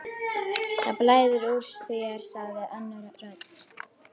Það blæðir úr þér sagði önnur rödd.